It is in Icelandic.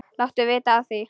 Láttu vita af því.